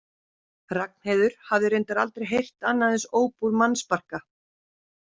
Ragnheiður hafði reyndar aldrei heyrt annað eins óp úr mannsbarka.